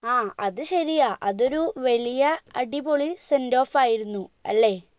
ആ അത് ശരിയാ അതൊരു വേലിയാ അടിപൊളി sendoff ആയിരുന്നു അല്ലെ